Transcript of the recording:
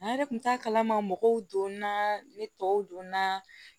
An yɛrɛ kun t'a kalama mɔgɔw donna ne tɔw don na